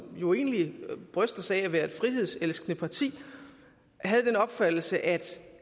jo egentlig bryster sig af at være et frihedselskende parti havde den opfattelse at